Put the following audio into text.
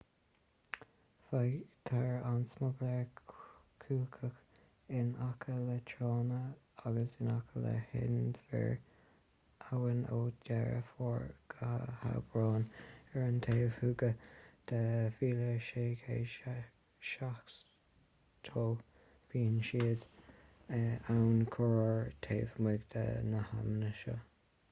faightear an smugairle cuachach in aice le tránna agus in aice le hinbhir abhann ó dheireadh fómhair go haibreán ar an taobh thuaidh de 1770 bíonn siad ann corruair taobh amuigh de na hamanna sin